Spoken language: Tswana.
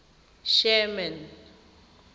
sherman